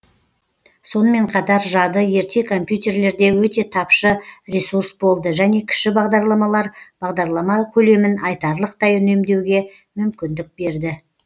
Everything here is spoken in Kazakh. сонымен қатар жады ерте компьютерлерде өте тапшы ресурс болды және кіші бағдарламалар бағдарлама көлемін айтарлықтай үнемдеуге мүмкіндік берді